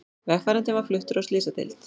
Vegfarandinn var fluttur á slysadeild